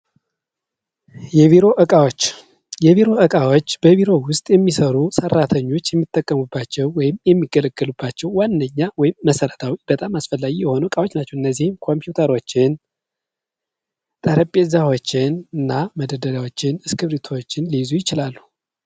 የቢሮ እቃዎች የቢሮ እቃዎች በቢሮ ውስጥ የሚሰሩ ሰራተኞች የሚጠቀሙባቸው ወይም የሚገለገሉባቸው ዋነኛ ወይም መሰረታዊ በጣም አስፈላጊ የሆኑ እቃዎች ናቸው። እነዚህም ኮፒውተሮችን ጠረቤዛዎችንና መደርደሪያዎችን እስክርቢቶዎችን ሊይዙ ይችላሉ።